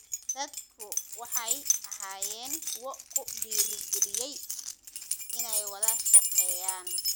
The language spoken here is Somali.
Dadku waxay ahaayeen kuwo ku dhiirigeliyay inay wada shaqeeyaan.